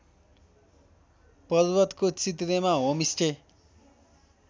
पर्वतको चित्रेमा होमस्टे